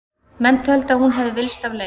Menn töldu að hún hefði villst af leið.